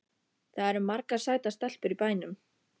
Það eru margar sætar stelpur í bænum.